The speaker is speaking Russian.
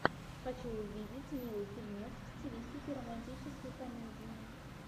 хочу увидеть милый фильмец в стилистике романтической комедии